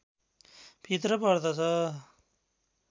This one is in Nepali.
भित्र पर्दछ